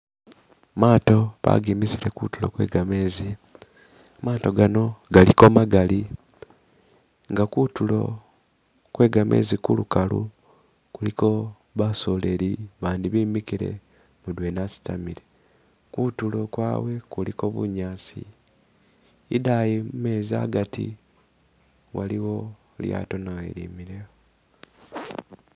Maato bagemisile kutulo gwe gamezi, maato gano galiko magaali nga kutulo gwe gameezi kulukalu kuliko basoleli abandi bemikile mudwena asitamile, kutulo kwabwe kuliko bunyaasi idaayi mumezi agati waliwo ilyaato nawo ilimile.